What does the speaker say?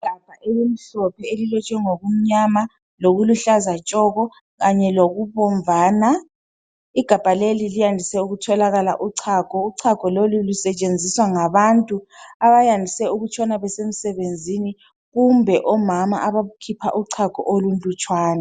Igabha elimhlophe elilotshwe ngokumnyama lokuluhlaza tshoko kanye lokubomvana, igabha leli landise ukutholakala uchago, uchago lolu lusetshenziswa ngabantu abayandise ukutshona besemsebenzini kumbe omama abakhipha uchago olulutshwana.